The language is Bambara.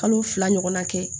Kalo fila ɲɔgɔna kɛ